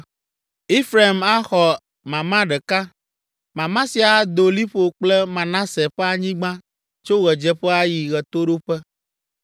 Efraim axɔ mama ɖeka. Mama sia ado liƒo kple Manase ƒe anyigba tso ɣedzeƒe ayi ɣetoɖoƒe.